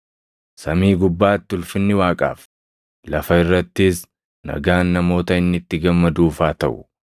“Samii gubbaatti ulfinni Waaqaaf, lafa irrattis nagaan namoota inni itti gammaduuf haa taʼu.”